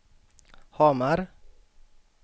Hamar